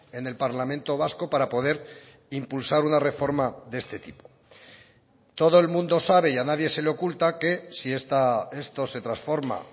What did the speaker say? en el parlamento vasco para poder impulsar una reforma de este tipo todo el mundo sabe y a nadie se le oculta que si esto se transforma